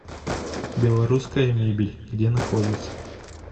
белорусская мебель где находится